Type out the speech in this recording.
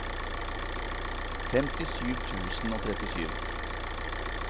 femtisju tusen og trettisju